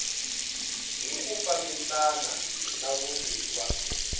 hi ku fambisana na vumbiwa